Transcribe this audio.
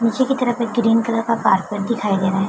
पीछे की तरफ में ग्रीन कलर का कारपेट दिखाई दे रहा है।